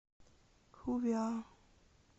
ху ви а